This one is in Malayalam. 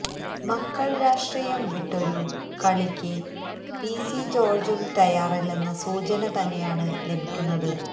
മക്കള് രാഷ്ട്രീയം വിട്ടൊരു കളിയ്ക്ക് പിസി ജോര്ജ്ജും തയ്യാറല്ലെന്ന സൂചന തന്നെയാണ് ലഭിക്കുന്നത്